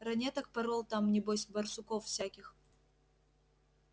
ранеток порол там небось барсуков всяких